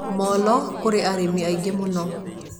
Molo kũrĩ arĩmi aingĩ mũno